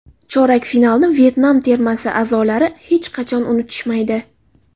Chorak finalni Vyetnam termasi a’zolari hech qachon unutishmaydi.